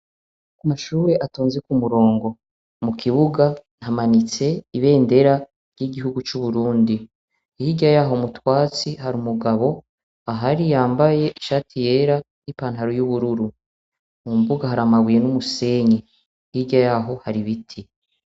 Amashure atonze ku murongo. Mu kibuga, hamanitse ibendera ry'igihugu c'Uburundi. Hirya y'aho mu twatsi, hari umugabo ahari yambaye ishati yera n'ipataro y'ubururu . Mumbuga hari amabuye n'umusenyi. Hirya y'aho hari ibiti.